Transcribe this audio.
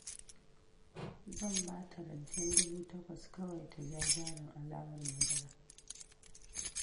Zan ba ta rancen dubu takwas kawai ta ja jarin alawar madara